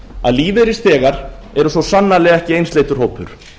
að lífeyrisþegar eru svo sannarlega ekki einsleitur hópur